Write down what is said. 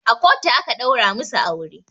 A kotu aka ɗaura masu aure